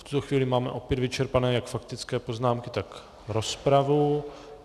V tuto chvíli máme opět vyčerpané jak faktické poznámky, tak rozpravu.